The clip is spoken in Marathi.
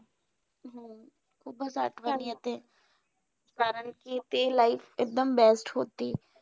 खुपचं आठवण येते. कारण कि ते life एकदम best होती.